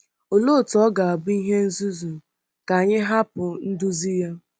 Olee otú ọ ga-abụ ihe nzuzu ka anyị hapụ nduzi ya?